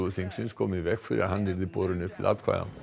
þingsins kom í veg fyrir að hann yrði borinn upp til atkvæða